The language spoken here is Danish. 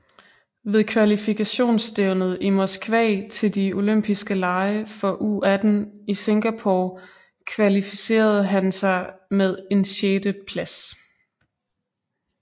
Ved kvalifikationsstævnet i Moskva til de Oympiske Lege for U18 i Singapore kvalifiserede han sig med en sjætte plads